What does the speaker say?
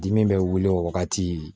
Dimi bɛ wili o wagati